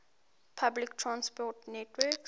public transport network